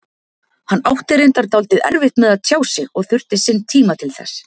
Hann átti reyndar dálítið erfitt með að tjá sig og þurfti sinn tíma til þess.